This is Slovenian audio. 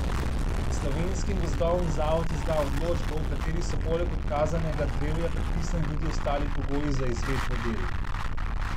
Slovenskim gozdovom zavod izda odločbo, v kateri so poleg odkazanega drevja predpisani tudi ostali pogoji za izvedbo del.